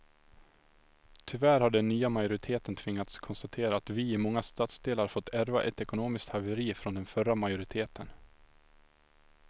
Tyvärr har den nya majoriteten tvingats konstatera att vi i många stadsdelar fått ärva ett ekonomiskt haveri från den förra majoriteten.